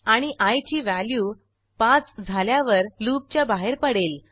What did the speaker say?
आणि आय ची व्हॅल्यू 5 झाल्यावर लूपच्या बाहेर पडेल